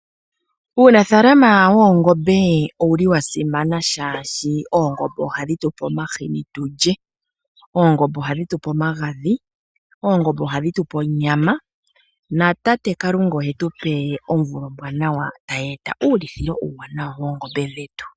Uunafaalama woongombe owu li wa simana shaashi, oongombe oha dhi tupe omahini tu lye, oongombe oha dhi tu pe omagadhi, oongombe oha dhi tu pe onyama, na tate Kalunga ohe tu pe omvula ombwaanawa tayeeta uulithilo uuwanawa woongombe dhetu.